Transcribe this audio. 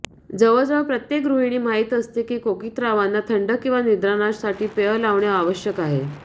जवळजवळ प्रत्येक गृहिणी माहित असते की कोकित्रावांना थंड किंवा निद्रानाश साठी पेय लावणे आवश्यक आहे